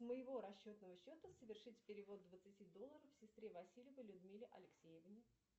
с моего расчетного счета совершить перевод двадцати долларов сестре васильевой людмиле алексеевне